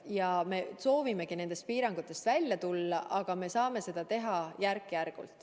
Ka meie soovime nendest piirangutest välja tulla, aga saame seda teha järk-järgult.